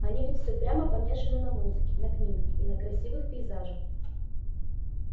они ведь все прямо помешаны на музыке на книгах и на красивых пейзажах